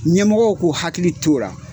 Ɲɛmɔgɔw k'u hakili to o ra.